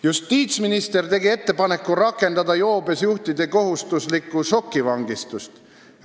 "Justiitsminister tegi ettepaneku rakendada joobes juhtidele kohustuslikku šokivangistust.